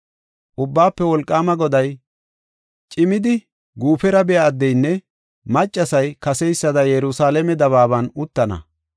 Ubbaafe Wolqaama Goday, “Cimidi guufera biya addeynne maccasay kaseysada Yerusalaame dabaaban uttana.